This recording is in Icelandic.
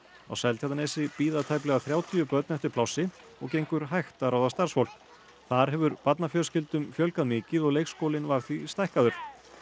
á Seltjarnarnesi bíða tæplega þrjátíu börn eftir plássi og gengur hægt að ráða starfsfólk þar hefur barnafjölskyldum fjölgað mikið og leikskólinn var því stækkaður